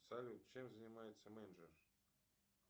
салют чем занимается менеджер